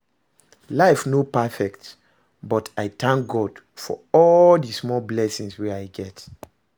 Life no perfect, but i go tank God for all di small blessings wey I get